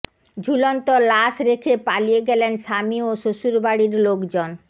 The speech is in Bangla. ঝুলন্ত লাশ রেখে পালিয়ে গেলেন স্বামী ও শ্বশুরবাড়ির লোকজন